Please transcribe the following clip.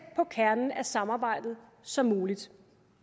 på kernen af samarbejdet som muligt